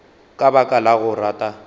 ka baka la go rata